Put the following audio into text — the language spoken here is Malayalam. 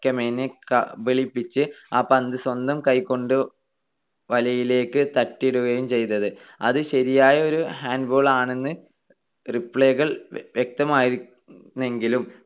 കമേനിയെ കബളിപ്പിച്ച് ആ പന്ത് സ്വന്തം കൈകൊണ്ട് വലയിലേക്ക് തട്ടിയിടുകയും ചെയ്തത്. അത് ശരിയായ ഒരു handball ആണെന്ന് replay കൾ വ്യക്തമായിരുന്നെങ്കിലും